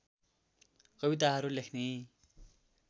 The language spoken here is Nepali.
कविताहरू लेख्ने